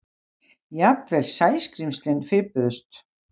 Jafnvel Sæskrímslin fipuðust.